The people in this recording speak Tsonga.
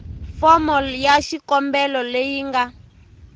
fomo ya xikombelo leyi nga